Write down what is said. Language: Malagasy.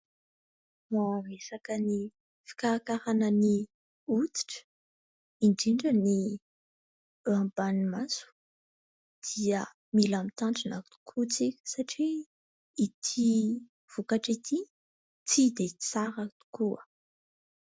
Raha resaka ny fikarakaràna ny hoditra indrindra ny eo ambanin'ny maso dia mila mitandrina tokoa isika satria ity vokatra ity tsy dia tsara tokoa.